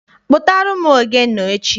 Kpụtara m ogene echi!